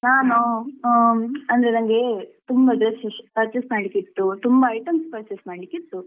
ಹೌದಾ ನಾನು ಹ್ಮ್ ಅಂದ್ರೆ ನನ್ಗೆ ತುಂಬಾ dresses purchase ಮಾಡ್ಲಿಕ್ಕೆ ಇತ್ತು ತುಂಬಾ items purchase ಮಾಡ್ಲಿಕ್ಕೆ ಇತ್ತು.